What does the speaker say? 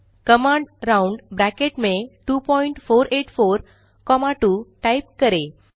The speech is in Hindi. कमांड राउंड2484 2 टाइप करें